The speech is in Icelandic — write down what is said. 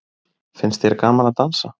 Finnst þér gaman að dansa?